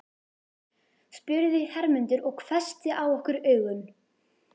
spurði Hermundur og hvessti á okkur augun.